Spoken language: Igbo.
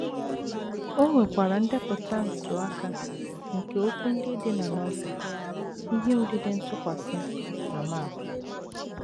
O nwekwara ndepụta ntụaka nke okwu ndị dị na Novel, ihe odide ntụkwasị, na map.